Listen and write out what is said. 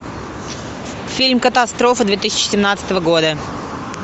фильм катастрофа две тысячи семнадцатого года